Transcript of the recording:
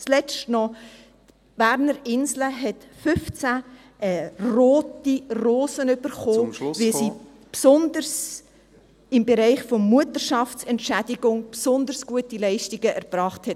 Zuletzt noch: Die Berner Insel hat 15 rote Rosen erhalten, … weil sie im Bereich der Mutterschaftsentschädigung besonders gute Leistungen erbracht hat.